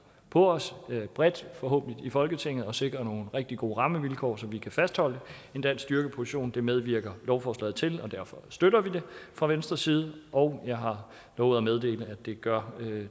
på os bredt forhåbentlig i folketinget med at sikre nogle rigtig gode rammevilkår så vi kan fastholde en dansk styrkeposition det medvirker lovforslaget til og derfor støtter vi det fra venstres side og jeg har lovet at meddele at det gør